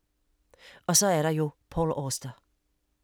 Og så er der jo Paul Auster.